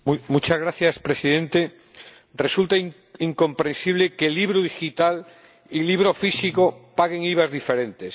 Señor Presidente, resulta incomprensible que el libro digital y el libro físico paguen IVA diferente.